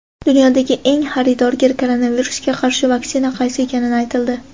Dunyodagi eng xaridorgir koronavirusga qarshi vaksina qaysi ekani aytildi.